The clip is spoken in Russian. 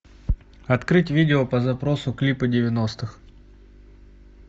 открыть видео по запросу клипы девяностых